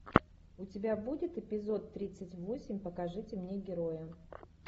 у тебя будет эпизод тридцать восемь покажите мне героя